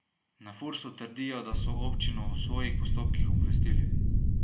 Na Fursu trdijo, da so občino o svojih postopkih obvestili.